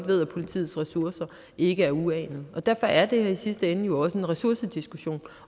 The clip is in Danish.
ved at politiets ressourcer ikke er uanede derfor er det her i sidste ende jo også en ressourcediskussion